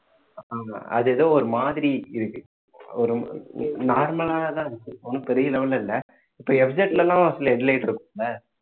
ஆமா அது ஏதோ ஒரு மாதிரி இருக்கு ஒரு normal லாதான் இருக்கு ஒண்ணும் பெரிய level ல இல்லை இப்ப எல்லாம் சில headlight இருக்கும்ல